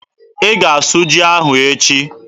Ị ga-asụ ji ahụ echi!